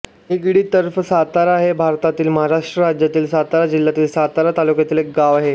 निगडी तर्फे सातारा हे भारतातील महाराष्ट्र राज्यातील सातारा जिल्ह्यातील सातारा तालुक्यातील एक गाव आहे